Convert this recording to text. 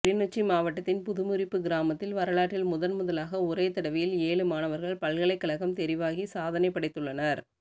கிளிநொச்சி மாவட்டத்தின் புதுமுறிப்பு கிராமத்தில் வரலாற்றில் முதன்முதலாக ஒரே தடவையில் ஏழு மாணவர்கள் பல்கலைக்கழகம் தெரிவாகி சாதனை படைத்துள்ளனர்